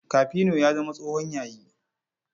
Kafino ya zama tsohon yayi.